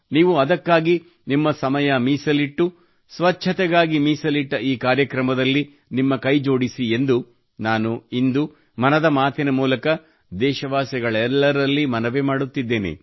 ನೀವು ಅದಕ್ಕಾಗಿ ನಿಮ್ಮ ಸಮಯ ಮೀಸಲಿಟ್ಟು ಸ್ವಚ್ಛತೆಗಾಗಿ ಮೀಸಲಿಟ್ಟ ಈ ಕಾರ್ಯಕ್ರಮದಲ್ಲಿ ನಿಮ್ಮ ಕೈ ಜೋಡಿಸಿ ಎಂದು ನಾನು ಇಂದು ಮನದ ಮಾತಿನ ಮೂಲಕ ದೇಶವಾಸಿಗಳೆಲ್ಲರಲ್ಲಿ ಮನವಿ ಮಾಡುತ್ತಿದ್ದೇನೆ